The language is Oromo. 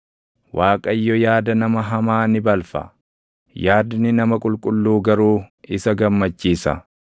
Waaqayyo yaada nama hamaa ni balfa; yaadni nama qulqulluu garuu isa gammachiisa.